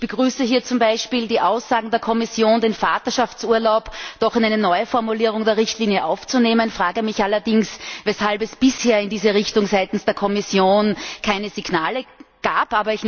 Ich begrüße hier zum Beispiel die Aussagen der Kommission, den Vaterschaftsurlaub doch in eine neue Formulierung der Richtlinie aufzunehmen, frage mich allerdings, weshalb es bisher in diese Richtung seitens der Kommission keine Signale gab.